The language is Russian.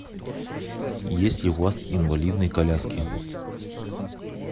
есть ли у вас инвалидные коляски